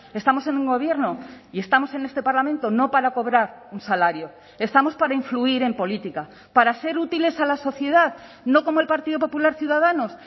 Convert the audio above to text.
estamos en un gobierno y estamos en este parlamento no para cobrar un salario estamos para influir en política para ser útiles a la sociedad no como el partido popular ciudadanos